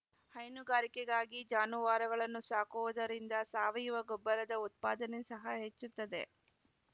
ಹೈನುಗಾರಿಕೆಗಾಗಿ ಜಾನುವಾರುಗಳನ್ನು ಸಾಕುವುದರಿಂದ ಸಾವಯುವ ಗೊಬ್ಬರದ ಉತ್ಪಾದನೆ ಸಹ ಹೆಚ್ಚುತ್ತದೆ